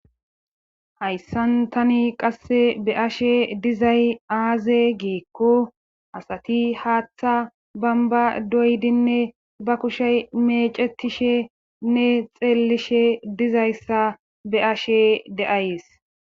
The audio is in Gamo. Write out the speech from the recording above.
hayssan tani qasse be ashe dizay aaze geekko asati haaththa bamba doydinne ba kushey meecetishe nne xeellishe dizayssa be ashe de7ays